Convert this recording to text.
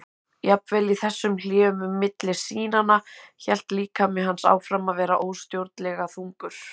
Jafnvel í þessum hléum milli sýnanna hélt líkami hans áfram að vera óstjórnlega þungur.